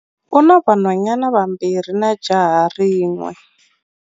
U na vanhwanyana vambirhi na jaha rin'we.